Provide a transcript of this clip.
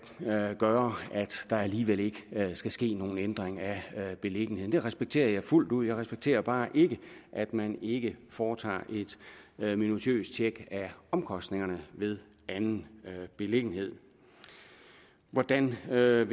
gøre at der alligevel ikke skal ske nogen ændring af beliggenheden det respekterer jeg fuldt ud men jeg respekterer bare ikke at man ikke foretager et minutiøst tjek af omkostningerne ved en anden beliggenhed hvordan vil